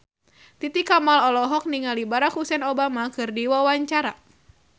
Titi Kamal olohok ningali Barack Hussein Obama keur diwawancara